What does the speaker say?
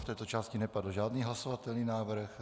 V této části nepadl žádný hlasovatelný návrh.